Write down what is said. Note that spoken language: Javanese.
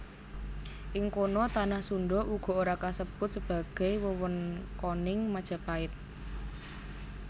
Ing kono tanah Sundha uga ora kasebut sebagai wewengkoning Majapait